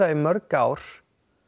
í mörg ár